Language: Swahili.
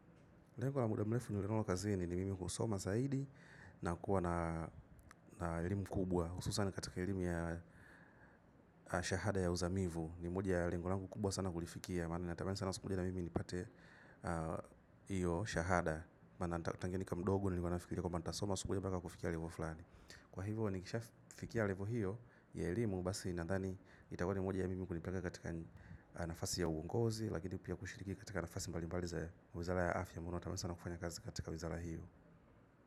Lengo la muda mrefu ni ule ninao kazini ni mimi kusoma zaidi na kuwa na elimu kubwa hususani katika elimu ya shahada ya uzamivu. Ni moja ya lengo langu kubwa sana kulifikia. Maana natamani sana sikujl moja na mimi nipate hiyo shahada. Maana na tangu nikiwa mdogo nilikuwa nafikiria kwamba nitasoma siku moja mpaka kufika levo fulani. Kwa hivyo nikishafikia levo hiyo ya elimu basi ninandhani itakuwa ni moja ya mimi kunipanga katika nafasi ya uungozi. Lakini pia kushiriki katika nafasi mbali mbali za wizara ya afya ambayo natamani sana kufanya kazi katika wizara hiyo.